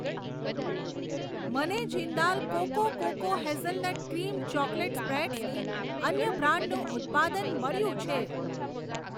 મને Jindal cocoa cocoa hazelnut cream chocolate સ્પ્રેડસની અન્ય બ્રાન્ડનું ઉત્પાદન મળ્યું છે.